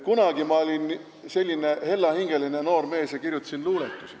Kunagi ma olin selline hella hingega noor mees ja kirjutasin luuletusi.